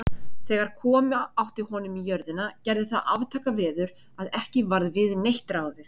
Þegar koma átti honum í jörðina, gerði það aftakaveður, að ekki varð við neitt ráðið.